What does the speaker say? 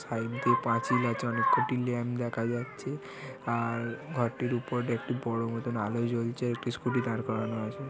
Side দিয়ে পাঁচিল আছে অনেক কটি ল্যাম্প দেখা যাচ্ছে আর ঘরটির উপরে একটি বড়ো মতন আলো জ্বলছে একটি স্কুটি দাঁড় করানো আছে।